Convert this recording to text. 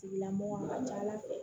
Tigilamɔgɔ a ka ca ala fɛ